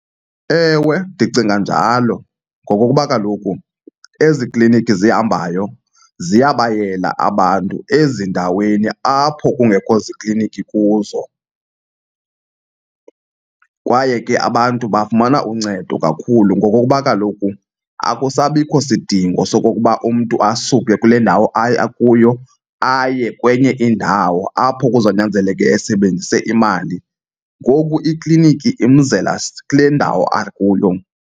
Ewe, ndicinga njalo ngokokuba kaloku ezi klinikhi zihambayo ziyabayela abantu ezindaweni apho kungekho ziiklinikhi kuzo. Kwaye ke abantu bafumana uncedo kakhulu ngokokuba kaloku akusabikho sidingo sokokuba umntu asuke kule ndawo akuyo aye kwenye indawo apho kuzonyanzeleka esebenzise imali, ngoku ikliniki imzela kule ndawo akuyo.